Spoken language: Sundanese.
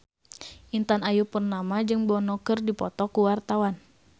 Intan Ayu Purnama jeung Bono keur dipoto ku wartawan